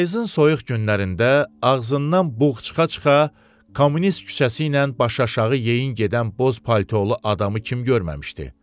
Payızın soyuq günlərində ağzından buğ çıxa-çıxa Kommunist küçəsi ilə başaşağı yeyin gedən boz paltolu adamı kim görməmişdi?